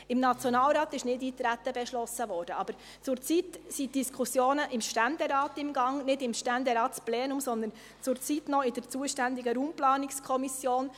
Im Nationalrat wurde Nichteintreten beschlossen, aber zurzeit sind die Diskussionen im Ständerat im Gang – nicht im Ständeratsplenum, sondern zurzeit noch in der zuständigen Raumplanungskommission.